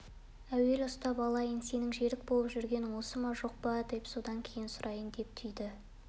әуелі ұстап алайын сенің жерік болып жүргенің осы ма жоқ па деп содан кейін сұрайын деп түйді